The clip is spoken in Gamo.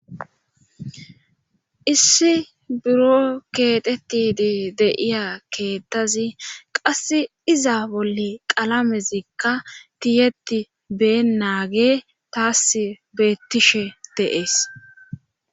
Issi buro keetetidi de'iya keettazi qass iza bolle qalamezikka tiyeti been naage taas beettishe deees.